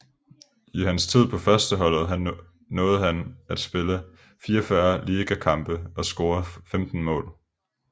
I hans tid på førsteholdet nåede han at spille 44 ligakampe og score 15 mål